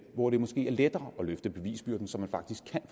hvor det måske er lettere at løfte bevisbyrden så man faktisk kan